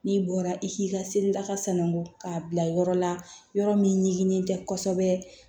N'i bɔra i k'i ka seli laka sangɔ k'a bila yɔrɔ la yɔrɔ min ɲiginnen tɛ kosɛbɛ